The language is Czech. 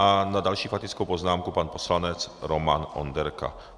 A na další faktickou poznámku pan poslanec Roman Onderka.